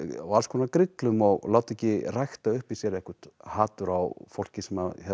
og alls konar grillum og láta ekki rækta upp í sér eitthvert hatur á fólki sem